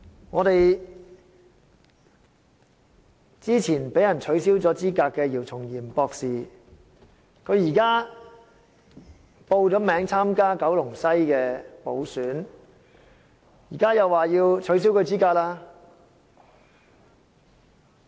我們早前被取消資格的姚松炎博士現已報名參加九龍西補選，現在又說要取消他的資格了。